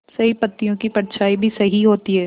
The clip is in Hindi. सही पत्तियों की परछाईं भी सही होती है